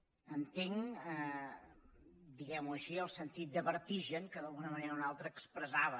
entenc diguemho així el sentit de vertigen que d’alguna manera o una altra expressava